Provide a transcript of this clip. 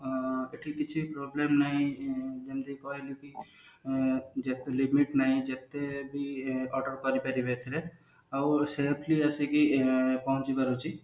ଆଁ ଏଠି କିଛି problem ନାଇଁ ଯେମତି କହିଲି କି ଯେତେ ବି order କରି ପାରିବେ ଏଥିରେ ଆଉ ସେଠି ବସିକି ପହଞ୍ଚି ପାରୁଛି